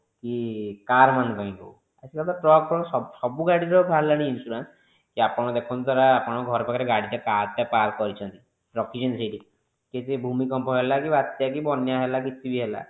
କି car ମାନଙ୍କପାଇଁ ହୋଉ ଆଜି କଲି ତ truck ଫ୍ରକ ସବୁ ଗାଡିଙ୍କ ପାଇଁ ବାହାରିଲାନି insurance କି ଆପଣ ଦେଖନ୍ତୁ ଆପଣ ଘର ପାଖରେ ଗାଡି ଟା park କରିଛନ୍ତି ରଖିଛନ୍ତି ସେଇଠି ଯଦି ଭୂମି କମ୍ପ ହେଲା କି ବାତ୍ୟା କି ବନ୍ୟା ହେଲା କି କିଛି ବି ହେଲା